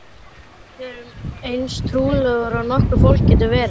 Við erum eins trúlofuð og nokkurt fólk getur verið.